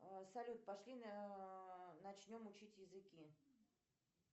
салют пошли начнем учить языки